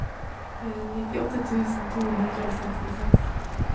nittiåtte tusen to hundre og sekstiseks